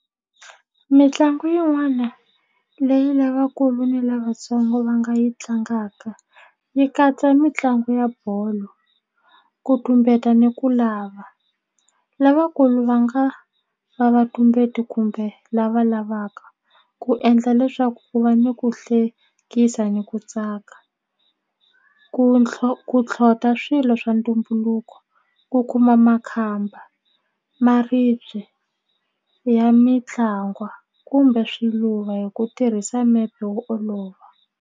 Mitlangu yin'wana leyi lavakulu ni lavatsongo va nga yi tlangaka yi katsa mitlangu ya bolo ku tumbeta ni ku lava lavakulu va nga va vatumbeti kumbe lava lavaka ku endla leswaku ku va ni ku hlekisa ni ku tsaka ku ku tlhota swilo swa ntumbuluko ku kuma makhamba maribye ya mitlangwa kumbe swiluva hi ku tirhisa mepe wo olova.